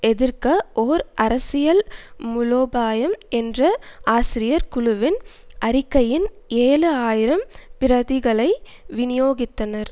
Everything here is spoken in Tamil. எதிர்க்க ஓர் அரசியல் மூலோபாயம் என்ற ஆசிரியர் குழுவின் அறிக்கையின் ஏழு ஆயிரம் பிரதிகளை விநியோகித்தனர்